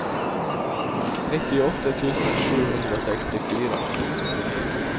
nittiåtte tusen sju hundre og sekstifire